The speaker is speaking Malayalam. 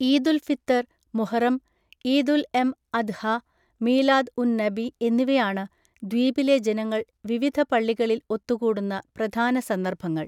ഈദുൽ ഫിത്തർ, മുഹറം, ഈദ് ഉൽഎം അദ്ഹ, മീലാദ് ഉൻ നബി എന്നിവയാണ് ദ്വീപിലെ ജനങ്ങൾ വിവിധ പള്ളികളിൽ ഒത്തുകൂടുന്ന പ്രധാന സന്ദർഭങ്ങൾ.